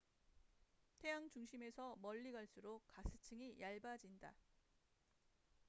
태양 중심에서 멀리 갈수록 가스층이 얇아진다